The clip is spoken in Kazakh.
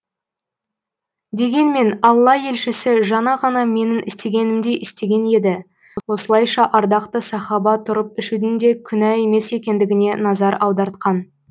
дегенмен алла елшісі жаңа ғана менің істегенімдей істеген еді осылайша ардақты сахаба тұрып ішудің де күнә емес екендігіне назар аудартқан